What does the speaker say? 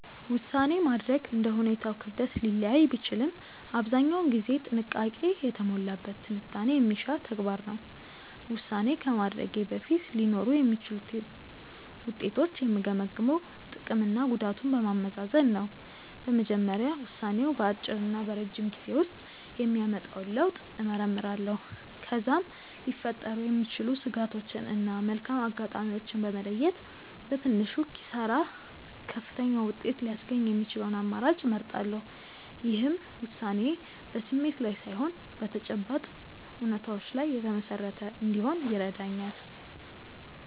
ውሳኔ ማድረግ እንደ ሁኔታው ክብደት ሊለያይ ቢችልም አብዛኛውን ጊዜ ጥንቃቄ የተሞላበት ትንታኔ የሚሻ ተግባር ነው። ውሳኔ ከማድረጌ በፊት ሊኖሩ የሚችሉትን ውጤቶች የምገመግመው ጥቅምና ጉዳቱን በማመዛዘን ነው። በመጀመሪያ ውሳኔው በአጭርና በረጅም ጊዜ ውስጥ የሚያመጣውን ለውጥ እመረምራለሁ። ከዚያም ሊፈጠሩ የሚችሉ ስጋቶችን እና መልካም አጋጣሚዎችን በመለየት፣ በትንሹ ኪሳራ ከፍተኛውን ውጤት ሊያስገኝ የሚችለውን አማራጭ እመርጣለሁ። ይህም ውሳኔዬ በስሜት ላይ ሳይሆን በተጨባጭ እውነታዎች ላይ የተመሰረተ እንዲሆን ይረዳኛል።